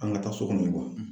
An ka taa so kɔnɔ